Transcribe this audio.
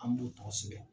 An b'o tɔgɔ sɛbɛn